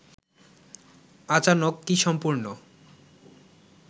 আচানক কি সম্পূর্ণ